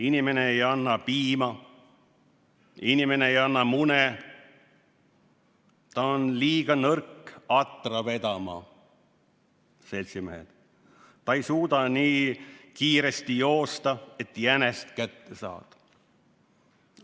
Inimene ei anna piima, ei mune mune, ta on liiga nõrk atra vedama, ta ei suuda nii kiiresti joosta, et jänest kätte saada.